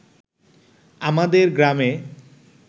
আমাদের গ্রামে